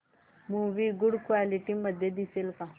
movie good quality मध्ये दिसेल का